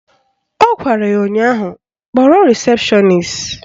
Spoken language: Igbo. Ọ gwara ya ụnyaahụ "Kpọrọ rịsepshọnis"!